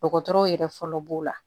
Dɔgɔtɔrɔw yɛrɛ fɔlɔ b'o la